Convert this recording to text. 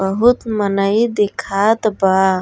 बहुत मनई दिखात बा।